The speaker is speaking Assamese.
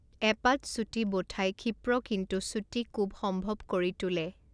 এপাত চুটি ব'ঠাই ক্ষিপ্ৰ কিন্তু চুটি কোব সম্ভৱ কৰি তোলে৷